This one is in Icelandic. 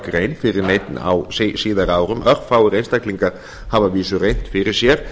búskapargrein fyrir neinn á síðari árum örfáir einstaklingar hafa að vísu reynt fyrir sér